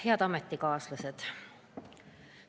Head ametikaaslased!